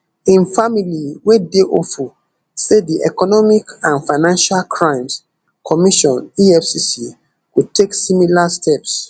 im family we dey hopeful say di economic and financial crimes commission efcc go take similar steps